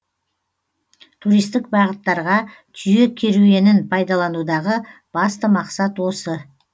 туристік бағыттарға түйе керуенін пайдаланудағы басты мақсат осы